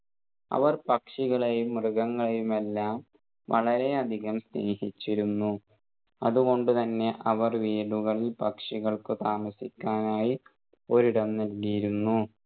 അവർ പക്ഷികളെയും മൃഗങ്ങളെയുമെല്ലാം വളരെ അധികം സ്നേഹിചിച്ചിരുന്നു അതുകൊണ്ട് തന്നെ അവർ വീടുകളിൽ പക്ഷികൾക്ക് താമസിക്കാനായി ഒരിടം നൽകിയിരുന്നു